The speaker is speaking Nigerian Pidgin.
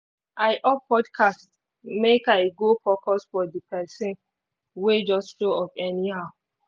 i off podcast make i go focus for the persin wey just show up anyhow